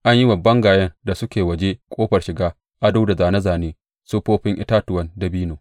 An yi wa bangayen da suke waje ƙofar shiga ado da zāne zāne siffofin itatuwan dabino.